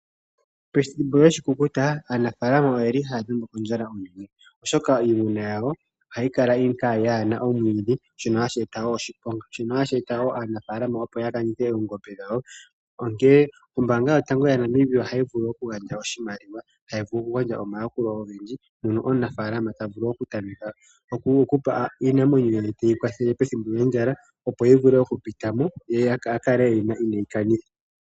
Pethimbo lyoshikukuta aanafaalama oyeli haya dhengwa kondjala oshoka komitima iimuna yawo ohayi kala yaana omwiidhi, shono hashi eta wo oshiponga. Shino hashi eta wo aanafaalama opo ya lande oongombe dhawo. Onkene ombaanga yotango yaNamibia ohayi vulu oku gandja oshimaliwa, hayi vulu okugandja omayakulo ogendji mpono omunafaalama tavulu okupa iinamwenyo ye teyikwathele pethimbo lyondjala opo yivule okupitamo ye akale eyina ineeyikanitha.